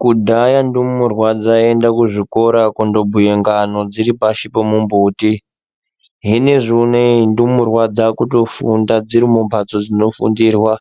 Kudhaya ndumurwa dzai enda ku zvikora kundo bhuye ngano dziri pashi po mumbuti hinezvi uneyi ndumurwa dzakuto funda dziri mu mbatso dzino fundirwa